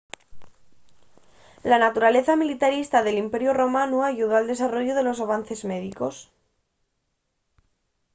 la naturaleza militarista del imperiu romanu ayudó al desarrollu de los avances médicos